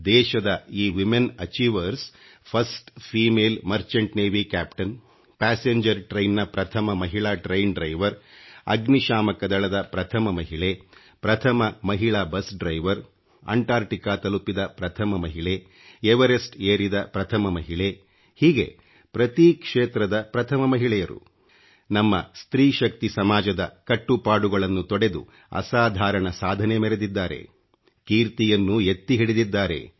ದೇಶದ ಈ ತಿomeಟಿ ಚಿಛಿhieveಡಿs ಈiಡಿsಣ ಜಿemಚಿಟe ಒeಡಿಛಿhಚಿಟಿಣ ಓಚಿvಥಿ ಅಚಿಠಿಣಚಿiಟಿ ಠಿಚಿsseಟಿgeಡಿ ಣಡಿಚಿiಟಿ ನ ಪ್ರಥಮ ಮಹಿಳಾ ಖಿಡಿಚಿiಟಿ ಆಡಿiveಡಿ ಅಗ್ನಿ ಶಾಮಕ ದಳದ ಪ್ರಥಮ ಮಹಿಳೆ ಪ್ರಥಮ ಮಹಿಳಾ ಃus ಆಡಿiveಡಿ ಂಟಿಣಚಿಡಿಛಿಣiಛಿಚಿ ತಲುಪಿದ ಪ್ರಥಮ ಮಹಿಳೆ ಎವರೆಸ್ಟ್ ಏರಿದ ಪ್ರಥಮ ಮಹಿಳೆ ಹೀಗೆ ಪ್ರತಿ ಕ್ಷೇತ್ರದ ಪ್ರಥಮ ಮಹಿಳೆಯರು ನಮ್ಮ ಸ್ತ್ರೀ ಶಕ್ತಿ ಸಮಾಜದ ಕಟ್ಟುಪಾಡುಗಳನ್ನು ತೊಡೆದು ಅಸಾಧಾರಣ ಸಾಧನೆ ಮೆರೆದಿದ್ದಾರೆ ಕೀರ್ತಿಯನ್ನು ಎತ್ತಿ ಹಿಡಿದಿದ್ದಾರೆ